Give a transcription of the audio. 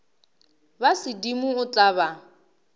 ba sedimo o tla ba